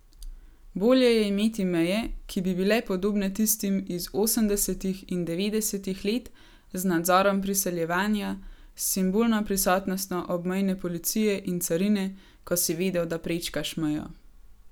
Bolje je imeti meje, ki bi bile podobne tistim iz osemdesetih in devetdesetih let z nadzorom priseljevanja, s simbolno prisotnostjo obmejne policije in carine, ko si vedel, da prečkaš mejo.